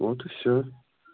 вот и все